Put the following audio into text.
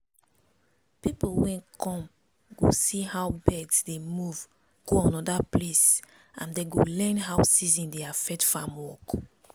people wey come go see how birds dey move go anoda place and dem go learn how season dey affect farm work